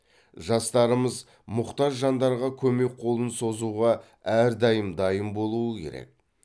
жастарымыз мұқтаж жандарға көмек қолын созуға әрдайым дайын болуы керек